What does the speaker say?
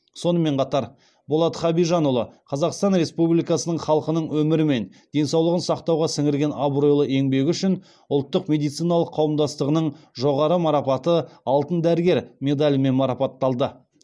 сонымен қатар болат хабижанұлы қазақстан республикасының халқының өмірі мен денсаулығын сақтауға сіңірген абыройлы еңбегі үшін ұлттық медициналық қауымдастығының жоғары марапаты алтын дәрігер медалімен марапатталды